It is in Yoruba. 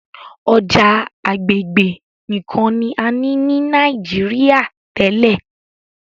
ọjà agbegbe nìkàn ní a ní ní Nàìjíríà tèlé.